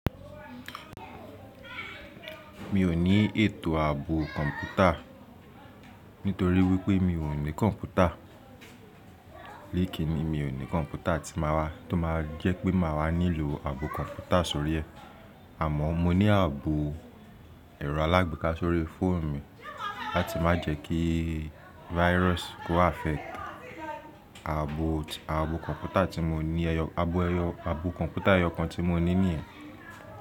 Mi ò ní ètò ààbò kọ̀ǹpútà nítorí wípé mi ò ní kọ̀ǹpútà. Léèkìni mi ò ní kọ̀ǹpútà tí máa wá tó máa jẹ́ pé màá wá nílò ààbò kọ̀ǹpútà sórí ẹ. Àmọ́ mo ní ààbò ẹ̀rọ alágbèéká sórí fóònù mi láti má jẹ́ kí virus kó affect ẹ̀ ààbò kọ̀ǹpútà tí mo ní ẹyọ, ààbò kọ̀ǹpútà ẹyọ kan tí mo ní níyẹn.